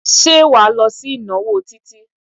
Ṣé wà á lọ sí ìnáwó Títí?